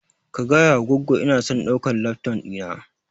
Ka gayawa goggo inason ɗaukan lafton ɗina